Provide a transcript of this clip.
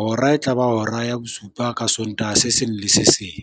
Hora e tlaba hora ya bosupa ka Sontaha se seng le se seng.